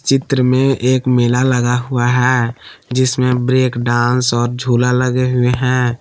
चित्र में एक मेला लगा हुआ है जिसमें ब्रेक डांस और झूला लगे हुए हैं।